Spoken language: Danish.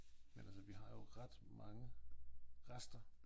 Men altså vi har jo ret mange rester